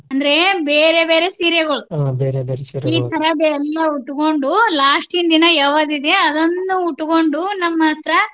ಅಂದ್ರೆ ಬೇರೆ ಬೇರೆ ಸೀರೆಗಳು ಈಥರದೆಲ್ಲಾ ಉಟ್ಕೊಂಡು last ದಿನ ಯಾವದಿದೆ ಅದನ್ನ ಉಟ್ಕೊಂಡು ನಮ್ಮ್ ಹತ್ರ